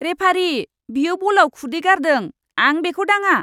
Referee! बियो बलआव खुदै गारदों। आं बेखौ दाङा!